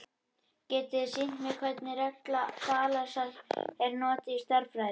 Getiði sýnt mér hvernig regla Þalesar er notuð í stærðfræði?